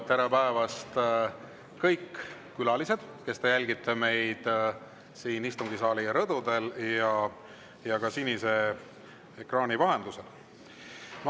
Tere päevast, kõik külalised, kes te jälgite meid siin istungisaali rõdudel ja ka sinise ekraani vahendusel!